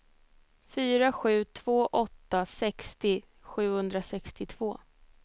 fyra sju två åtta sextio sjuhundrasextiotvå